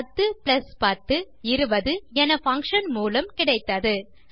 10 10 20 என பங்ஷன் மூலம் கிடைத்தது